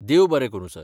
देव बरें करूं, सर.